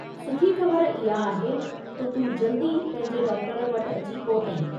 सुठी ख़बरु इहा आहे त तूं जल्दी पंहिंजे डॉक्टर वटि अची पहुते।